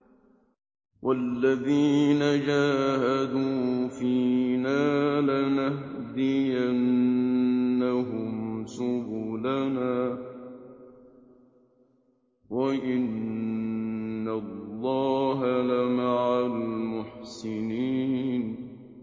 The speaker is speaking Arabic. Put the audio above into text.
وَالَّذِينَ جَاهَدُوا فِينَا لَنَهْدِيَنَّهُمْ سُبُلَنَا ۚ وَإِنَّ اللَّهَ لَمَعَ الْمُحْسِنِينَ